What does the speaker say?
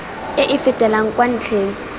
e e fetelang kwa ntlheng